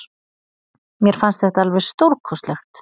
Mér fannst þetta alveg stórkostlegt.